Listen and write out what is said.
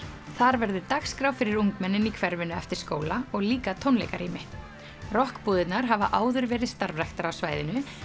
þar verður dagskrá fyrir ungmennin í hverfinu eftir skóla og líka tónleikarými rokkbúðirnar hafa áður verið starfræktar á svæðinu